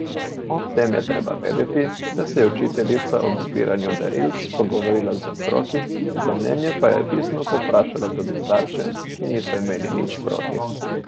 Ob tem je treba vedeti, da se je učiteljica ob izbiranju darilc pogovorila z otroki, za mnenje pa je pisno povprašala tudi starše, ki niso imeli nič proti.